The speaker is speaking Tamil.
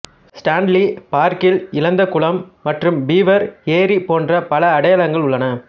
ஸ்டான்லி பார்க்கில் இழந்த குளம் மற்றும் பீவர் ஏரி போன்ற பல அடையாளங்கள் உள்ளன